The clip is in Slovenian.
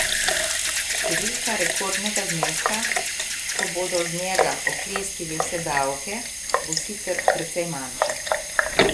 Številka rekordnega zneska, ko bodo z njega oklestili vse davke, bo sicer precej manjša.